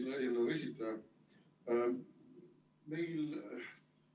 Lugupeetud eelnõu esitaja!